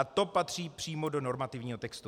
A to patří přímo do normativního textu.